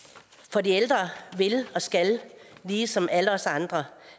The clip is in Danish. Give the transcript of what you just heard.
for de ældre vil og skal ligesom alle os andre